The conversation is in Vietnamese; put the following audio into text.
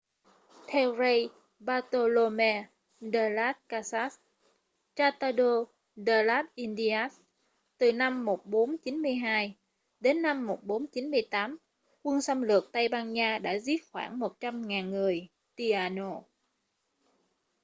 theo fray bartolomé de las casas tratado de las indias từ năm 1492 đến năm 1498 quân xâm lược tây ban nha đã giết khoảng 100.000 người taíno